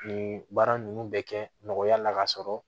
Nin baara ninnu bɛ kɛ nɔgɔya la ka sɔrɔ